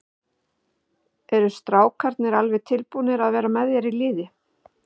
Eru strákarnir alveg tilbúnir að vera með þér í liði?